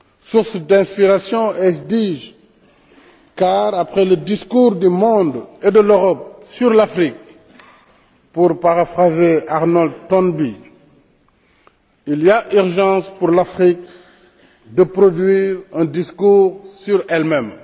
Source d'inspiration, ai je dit, car après le discours du monde et de l'Europe sur l'Afrique, pour paraphraser Arnold Toynbee, il y a urgence pour l'Afrique de produire un discours sur elle même.